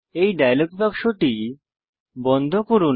এই ডায়ালগ বাক্সটি বন্ধ করুন